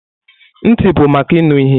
Ntị bụ maka ịnụ ihe.